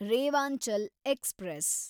Rewanchal express